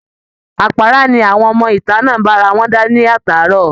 Àpára ni àwọn ọmọ ìta náà ń bá ara wọn dá látàárọ̀